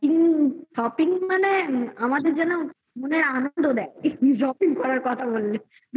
shopping shopping মানে আমাদের যেন আনন্দ দেয় shopping করার কথা বললে